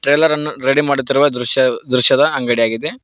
Trailer ಅನ್ನು ready ಮಾಡುತ್ತಿರುವ ದೃಶ್ಯ ದೃಶ್ಯದ ಅಂಗಡಿಯಾಗಿದೆ.